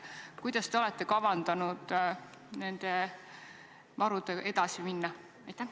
Kuidas te olete kavandanud nende varudega edasi minna?